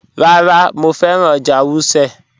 Rárá, Mọ fẹ́ran ọ́jà̀ Wùsẹ́.